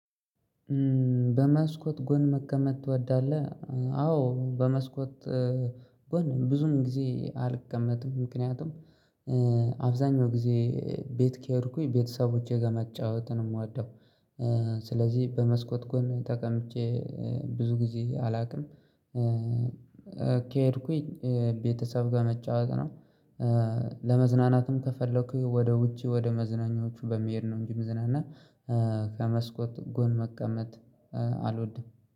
በመስኮት ጎን መቀመጥ ትወዳለህ? አዎ በመስኮት ጎን ብዙም ጊዜ አልቀመጥም ምክንያቱም አብዛኛው ጊዜ ቤት ከሄድኩኝ ቤተሰቦቼ ጋር መጫወትን ነው የምወደው። ስለዚህ በመስኮት ጎን ተቀምጬ ብዙ ጊዜ አላውቅም ከሄድኩኝ ቤተሰብ ጋር መጫወት ነው። ለመዝናናትም ከፈለኩኝ ወደ ውጪ ወደ መዝናኛዎቹ በመሄድ ነው እንጂ ምዝናና ከመስኮት ጎን መቀመጥ አልወድም